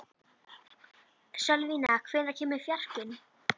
Sölvína, hvenær kemur fjarkinn?